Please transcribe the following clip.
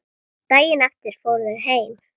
Daginn eftir fóru þau heim.